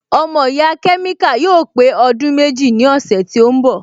Ọmọ ìyá kẹ́míkà yóò pé ọdún méjì ní ọ̀sẹ̀ tí ó ń bọ̀